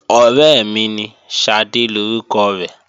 Ọ̀rẹ́ mi ní, Ṣadé lórúkọ rẹ̀